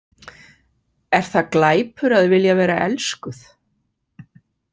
Er það glæpur að vilja vera elskuð?